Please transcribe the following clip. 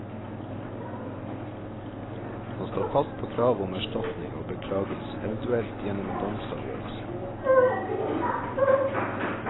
Han står fast på kravet om erstatning og beklagelse, eventuelt gjennom en domsavgjørelse.